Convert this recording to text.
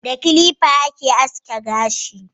Da kilifa ake aske gashi